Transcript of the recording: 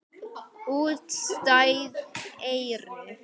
Útstæð eyru.